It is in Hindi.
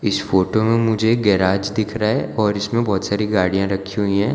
इस फोटो में मुझे एक गैराज दिख रहा है और इसमें बहोत सारी गाड़ियां रखी हुई है।